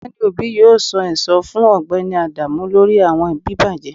Ọgbẹni obi yoo san ẹsan fun Ọgbẹni adamu lori awọn bibajẹ